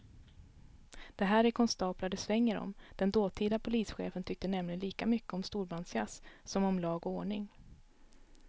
Det här är konstaplar det svänger om, den dåtida polischefen tyckte nämligen lika mycket om storbandsjazz som om lag och ordning.